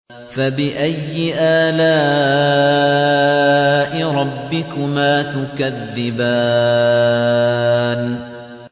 فَبِأَيِّ آلَاءِ رَبِّكُمَا تُكَذِّبَانِ